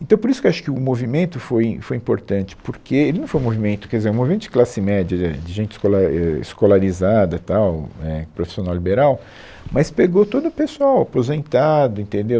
Então, por isso que eu acho que o movimento foi im, foi importante, porque ele não foi um movimento, quer dizer, um movimento de classe média, de é, de gente escolar, é, escolarizada tal, é, profissional liberal, mas pegou todo o pessoal aposentado, entendeu?